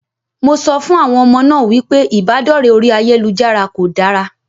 Mo sọ fún àwọn ọmọ náà wípé ìbádọ̀rẹ́ orí ayélujára kò dára.